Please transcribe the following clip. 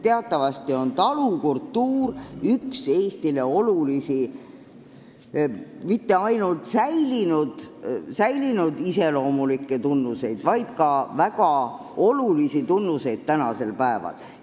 Teatavasti pole talukultuur Eestis mitte ainult meile iseloomulik minevikupärand, see on väga oluline ka tänapäeval.